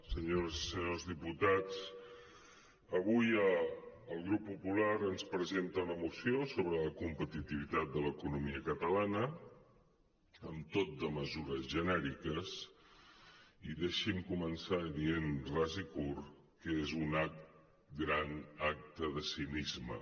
senyores i senyors diputats avui el grup popular ens presen·ta una moció sobre la competitivitat de l’economia catalana amb tot de mesures ge·nèriques i deixi’m començar dient ras i curt que és un gran acte de cinisme